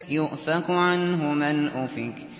يُؤْفَكُ عَنْهُ مَنْ أُفِكَ